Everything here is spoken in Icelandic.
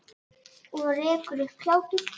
Og rekur upp hlátur.